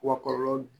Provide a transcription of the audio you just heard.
Wa kɔlɔlɔ